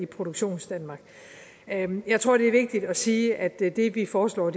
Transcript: produktionsdanmark jeg tror det er vigtigt at sige at det det vi foreslår